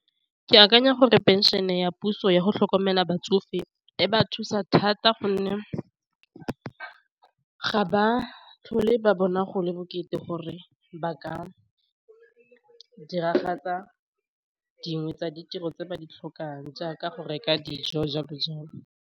Ke akanya gore pension-e ya puso yago tlhokomela batsofe e ba thusa thata gonne ga ba tlhole ba bona go le bokete gore ba ka diragatsa dingwe tsa ditiro tse ba di tlhokang jaaka go reka dijo jalo jalo.